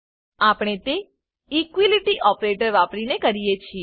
આપણે તે equality operator વાપરીને કરીએ છીએ